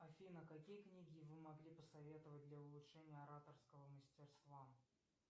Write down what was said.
афина какие книги вы могли посоветовать для улучшения ораторского мастерства